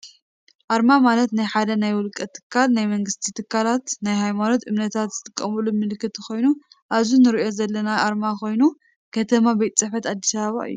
ኣርማ ማለት ናይ ሓደ ናይ ውልቀ ትካል ናይ መንግስቲ ትካላት ናይ ሃይማኖት እምነታት ዝጥቀማሉ ምልክት ኮይኑ ኣብዚ እንሪኦ ዘለና ኣርማ ኮይኑ ከቲማ ቤት ፅሕፈት ኣዲስ ኣበባ እዩ።